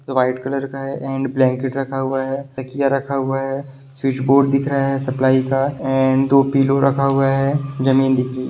White colour का and blanket रखा हुआ है तकिया रखा हुआ है स्विच बोर्ड दिख रहा है सप्लाई का एंड दो पिलो रखा हुआ है। जमीन दिख रही--